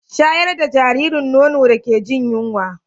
Shayar da jaririn nono da ke jin yunwa